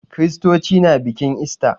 Kiristoci na bikin ista.